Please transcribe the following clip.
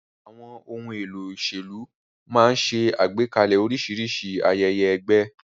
Àwọn ohun èlò òṣèlú máa ń ṣe àgbékalẹ̀ oríṣiríṣi ayẹyẹ ẹgbẹ́.